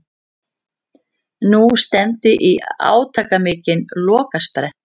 Nú stefndi í átakamikinn lokasprett.